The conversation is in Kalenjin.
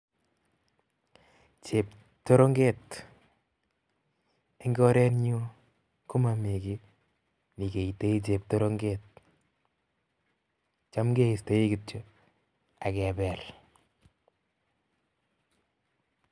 Cheptorong'et en korenyun komomii kiit nekeitoi cheptorong'et, chaam kestki kityok ak kebeel.